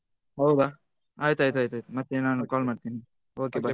ಹೌದ ಆಯ್ತ್ ಆಯ್ತ್ ಮತ್ತೆ ನಾನು call ಮಾಡ್ತೇನೆ okay bye.